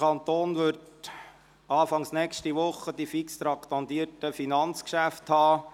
Anfang nächster Woche werden wir die fix traktandierten Finanzgeschäfte beraten.